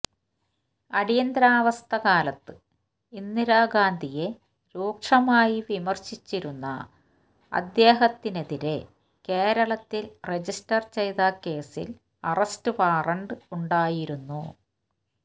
അടിയന്തരാവസ്ഥക്കാലത്ത് ഇന്ദിരാ ഗാന്ധിയെ രൂക്ഷമായി വിമർശിച്ചിരുന്ന അദ്ദേഹത്തിനെതിരെ കേരളത്തിൽ രജിസ്റ്റർ ചെയ്ത കേസിൽ അറസ്റ്റ് വാറന്റ് ഉണ്ടായിരുന്നു